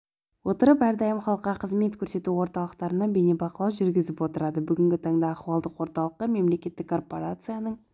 отырып әрдайым халыққа қызмет көрсету орталықтарына бейнебақылау жүргізіп отырады бүгінгі таңда ахуалдық орталыққа мемлекеттік корпорацияның